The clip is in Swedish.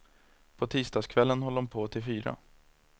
På tisdagskvällen höll de på till fyra.